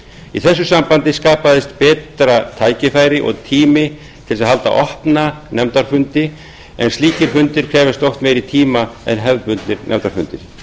í þessu sambandi skapaðist betra tækifæri og tími til að halda opna nefndafundi en slíkir fundir krefjast oft meiri tíma en hefðbundnir nefndafundir